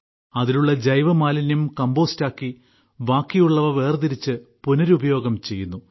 അതിലുള്ള ജൈവമാലിന്യം കമ്പോസ്റ്റാക്കി ബാക്കിയുള്ളവ വേർതിരിച്ച് പുനരുപയോഗം ചെയ്യുന്നു